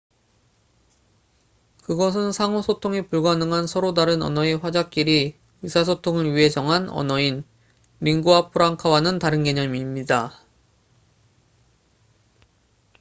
그것은 상호 소통이 불가능한 서로 다른 언어의 화자끼리 의사소통을 위해 정한 언어인 링구아 프랑카와는 다른 개념입니다